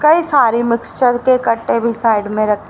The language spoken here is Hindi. कई सारी मिक्सर के कट्टे भी साइड में रखें--